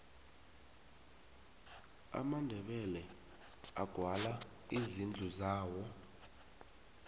amandebele agwala izindlu zawo